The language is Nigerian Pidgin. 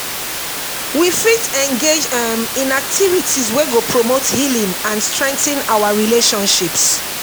we fit engage um in activities wey go promote healing and strengthen our relationships.